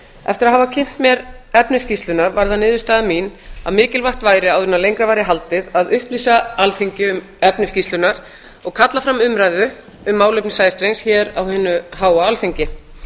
eftir að hafa kynnt mér efni skýrslunnar varð það niðurstaða mín að mikilvægt væri áður en lengra væri haldið að upplýsa alþingi um efni skýrslunnar og kalla fram umræðu um málefni sæstrengs hér á hinu háa alþingi